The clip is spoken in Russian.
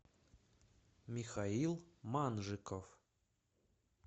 михаил манжиков